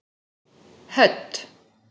Hödd